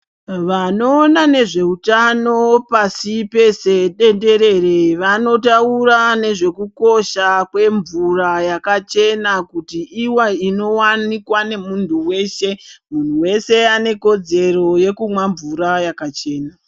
Vanoona nezveutano pasipeshe tenderere vanotaura nezvekukosha kwemvura yakachena kuiti ive inowanikwa nemuntu veshe muntu weshe anekudzero yekuwana mvura yakachena.